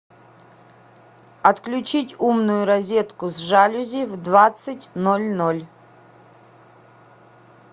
отключить умную розетку с жалюзи в двадцать ноль ноль